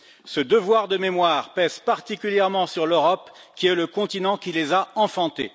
Ce devoir de mémoire pèse particulièrement sur l'Europe, le continent qui les a enfantés.